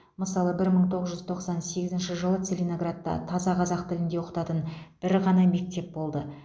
мысалы бір мың тоғыз жүз тоқсан сегізінші жылы целиноградта таза қазақ тілінде оқытатын бір ғана мектеп болды